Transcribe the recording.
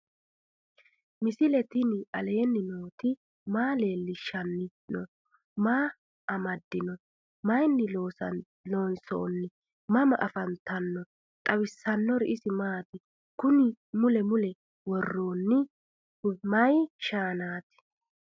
misile tini alenni nooti maa leelishanni noo? maa amadinno? Maayinni loonisoonni? mama affanttanno? xawisanori isi maati? kunni mule mule woroonihu mayi shaanati?